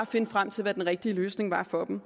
finde frem til hvad den rigtige løsning var for dem